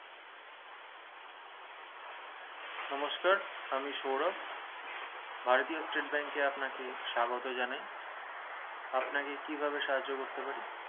নমস্কার আমি সৌরভ ভারতীয় state bank এ আপনাকে স্বাগত জানায় আপনাকে কি ভাবে সাহার্য করতে পারি